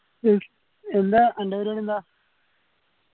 yes എല്ലാ അന്റ പരുവടി എന്താ